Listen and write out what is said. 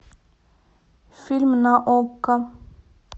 фильм на окко